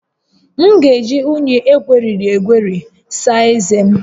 M ga-eji unyi egweriri egweri saa ezé m